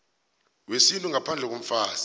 wesintu ngaphandle komfazi